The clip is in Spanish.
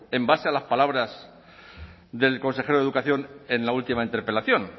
en base a las palabras del consejero de educación en la última interpelación